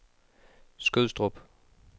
Skødstrup